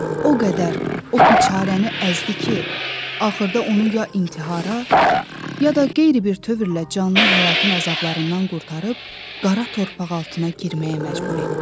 O qədər o biçaranı əzdi ki, axırda onu ya intihara, ya da qeyri bir tövrlə canını həyatın əzablarından qurtarıb qara torpaq altına girməyə məcbur etdi.